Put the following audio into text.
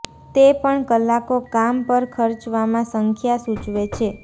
તે પણ કલાકો કામ પર ખર્ચવામાં સંખ્યા સૂચવે છે